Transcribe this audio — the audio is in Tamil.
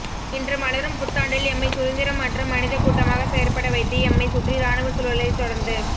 இன்று மலரும் புத்தாண்டில் எம்மை சுதந்திரம் அற்ற மனிதக் கூட்டமாக செயற்படவைத்து எம்மைச் சுற்றி இராணுவச் சூழலைத் தொடர்ந்து